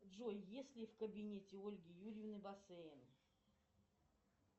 джой есть ли в кабинете ольги юрьевны бассейн